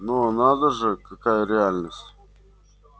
но надо же какая реальность